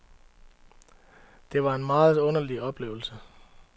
Det var en meget underlig oplevelse.